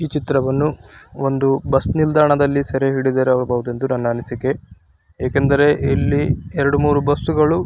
ಈ ಚಿತ್ರವನ್ನು ಒಂದು ಬಸ್ಸ ನಿಲ್ದಾಣದಲ್ಲಿ ಸೆರೆ ಹಿಡಿದಿರಬಹುದೆಂದು ನನ್ನ ಅನಿಸಿಕೆ. ಏಕೆಂದರೆ ಇಲ್ಲಿ ಎರಡು ಮೂರೂ ಬಸ್ಸು ಗಳು --